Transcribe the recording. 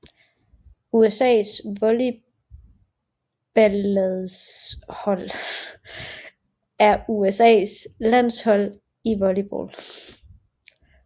USAs volleyballlandshold er USAs landshold i volleyball